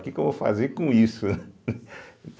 O que que eu vou fazer com isso?